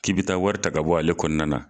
K'i b'i taa wari ta ka bɔ ale kɔnɔna na.